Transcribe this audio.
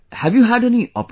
Have you had any operation